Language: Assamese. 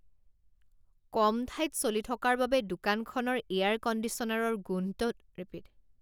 কম ঠাইত চলি থকাৰ বাবে দোকানখনৰ এয়াৰ কণ্ডিচনাৰৰ গোন্ধটো অতি বেয়া।